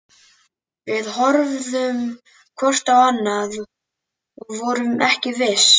Við horfðum hvort á annað- og vorum ekki viss.